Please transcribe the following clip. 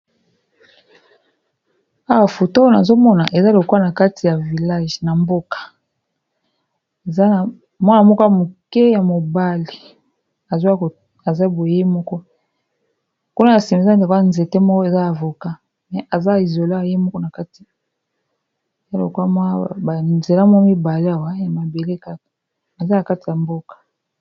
Awa foto nazomona eza lokola na kati ya vilage mwana moke ya mobali aza boye moko kuna na sima eza nzete moko eza avocat eza lokola ye moko awa ymabele na kati ya mboka.